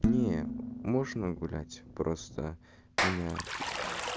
не можно гулять просто меня этот